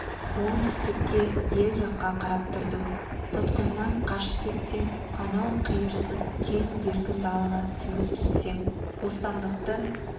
оңтүстікке ел жаққа қарап тұрдым тұтқыннан қашып кетсем анау қиырсыз кең еркін далаға сіңіп кетсем бостандықты